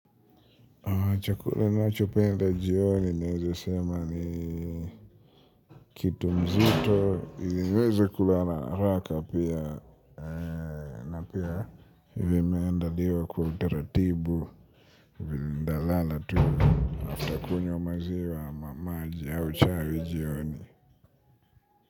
Ninavhopenda jioni, naweze sema ni kitu mzito, niweze kula na haraka pia, na pia vimeendaliwa kwa utaratibu, nitalala tu, afta kunywa maziwa ama maji au chai ya jioni.